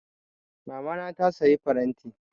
Mamana ta saya faranti.